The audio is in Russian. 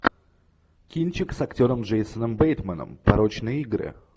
кинчик с актером джейсоном бейтманом порочные игры